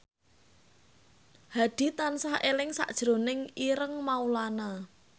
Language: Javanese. Hadi tansah eling sakjroning Ireng Maulana